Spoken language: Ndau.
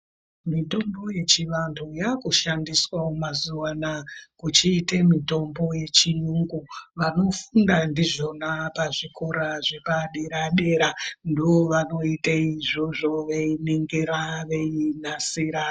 Mutombo yechivantu yakushandiswa mazuwanei kuchiita yechiyungu yechizvino zvino vanofunga ndizvona zvechikora zvepadera dera vachiningira vachinasira.